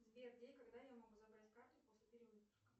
сбер где и когда я могу забрать карту после перевыпуска